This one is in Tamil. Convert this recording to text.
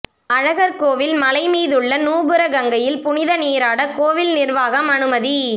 அழகர்கோயில் மலைமீதுள்ள நூபுர கங்கையில் புனித நீராட கோவில் நிர்வாகம் அனுமதி